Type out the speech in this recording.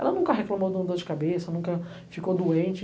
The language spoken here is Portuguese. Ela nunca reclamou de uma dor de cabeça, nunca ficou doente.